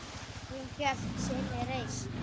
Hún hélt sinni reisn.